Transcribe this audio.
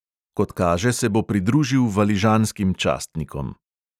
Kot kaže, se bo pridružil valižanskim častnikom.